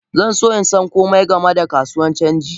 Zanso insan komai game da kasuwan canji.